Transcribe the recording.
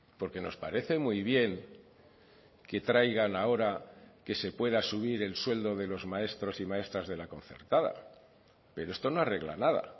porque nos parece muy bien que traigan ahora que se pueda subir el sueldo de los maestros y maestras de la concertada pero esto no arregla nada